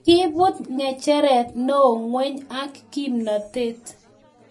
koibut ng'echeret neos ng'weny ak kimnatet